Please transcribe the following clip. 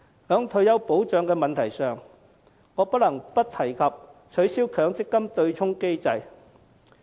在退休保障問題上，我不能不提及取消強積金對沖機制。